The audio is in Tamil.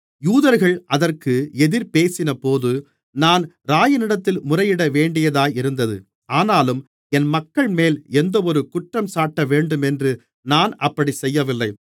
யூதர்கள் அதற்கு எதிர்பேசினபோது நான் இராயனிடத்தில் முறையிடவேண்டியதாயிருந்தது ஆனாலும் என் மக்கள்மேல் எந்தவொரு குற்றஞ்சாட்டவேண்டுமென்று நான் அப்படிச் செய்யவில்லை